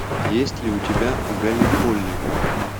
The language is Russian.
есть ли у тебя галлиполи